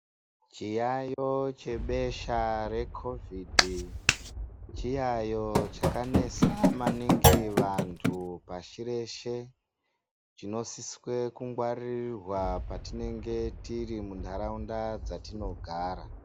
Chiyaiyo chebesha rekhovhidhi chiyaiyo chakanesa maningi vantu pashireshe chinosiswe kungwaririrwa patinenge tirimuntaraunda dzatinogara.